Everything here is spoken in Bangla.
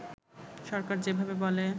সরকার যেভাবে বলে